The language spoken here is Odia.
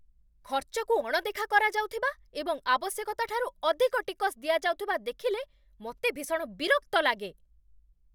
ଖର୍ଚ୍ଚକୁ ଅଣଦେଖା କରାଯାଉଥିବା ଏବଂ ଆବଶ୍ୟକତାଠାରୁ ଅଧିକ ଟିକସ୍ ଦିଆଯାଉଥିବା ଦେଖିଲେ ମୋତେ ଭୀଷଣ ବିରକ୍ତ ଲାଗେ।